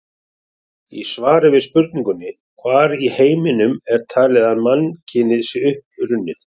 Í svari við spurningunni: Hvar í heiminum er talið að mannkynið sé upprunnið?